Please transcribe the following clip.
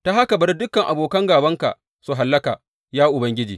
Ta haka bari dukan abokan gābanka su hallaka, ya Ubangiji!